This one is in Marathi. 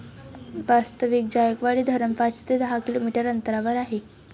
वास्ताविक जायकवाडी धरण पाच ते दहा किलोमीटर अंतरावर आहे.